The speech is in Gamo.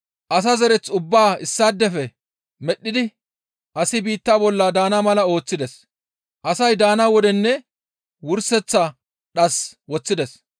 Asa zereth ubbaa issaadefe medhdhidi asi biitta bolla daana mala ooththides; asay daana wodenne wurseththa dhas woththides.